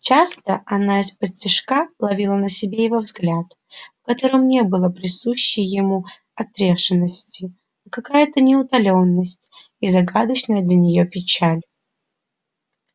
часто она исподтишка ловила на себе его взгляд в котором не было присущей ему отрешённости а какая-то неутоленность и загадочная для нее печаль